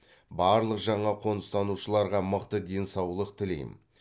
барлық жаңа қоныстанушыларға мықты денсаулық тілеймін